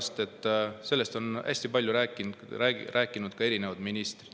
Sellepärast, et sellest on hästi palju rääkinud ka erinevad ministrid.